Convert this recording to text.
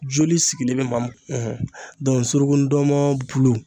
Joli sigilen be maa min ɔn suruku ndɔnmɔn bulu